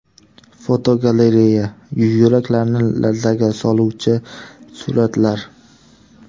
Fotogalereya: Yuraklarni larzaga soluvchi suratlar .